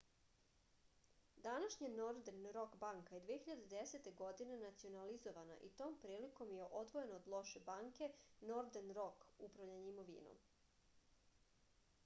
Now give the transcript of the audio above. данашња нордерн рок банка је 2010. године национализована и том приликом је одвојена од лоше банке нордерн рок управљање имовином